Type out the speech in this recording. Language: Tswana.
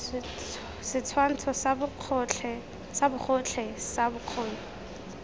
setshwantsho sa bogotlhe sa bokgoni